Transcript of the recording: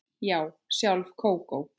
Já, sjálf Kókó